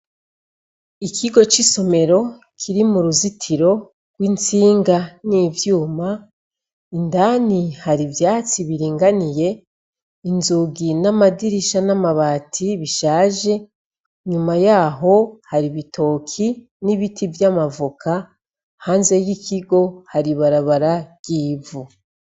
Ikigo c' isomero kiri mu ruruzitiro rw' intsinga n' ivyuma, indani hari ivyatsi biringaniye, inzugi n’ amadirisha n' amabati bishaje , inyuma yaho, hari ibitoki n' ibiti vy' amavoka, hanze y' ikigo hari ibarabara ry' ivu.